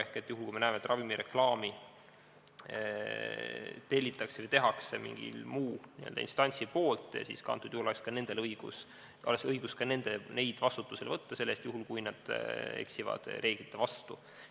Ehk juhul, kui me näeme, et ravimireklaami tellib või teeb mingi muu instants, siis oleks õigus ka neid vastutusele võtta selle eest, juhul kui nad eksivad reeglite vastu.